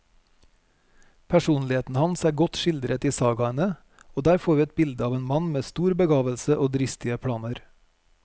Personligheten hans er godt skildret i sagaene, og der får vi et bilde av en mann med stor begavelse og dristige planer.